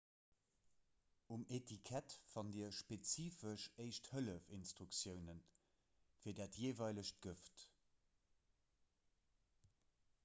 um etikett fannt dir spezifesch éischt-hëllef-instruktioune fir dat jeeweilegt gëft